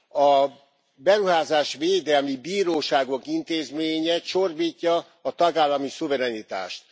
A beruházásvédelmi bíróságok intézménye csorbítja a tagállami szuverenitást.